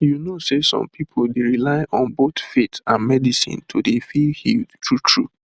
you know say some pipu dey rely on both faith and medicine to dey feel healed true true